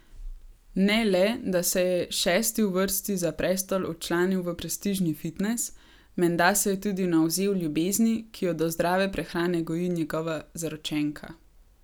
Ne le, da se je šesti v vrsti za prestol včlanil v prestižni fitnes, menda se je tudi navzel ljubezni, ki jo do zdrave prehrane goji njegova zaročenka.